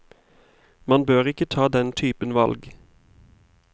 Man bør ikke ta den typen valg.